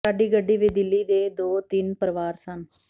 ਸਾਡੀ ਗੱਡੀ ਵਿਚ ਦਿੱਲੀ ਦੇ ਦੋ ਤਿੰਨ ਪਰਿਵਾਰ ਸਨ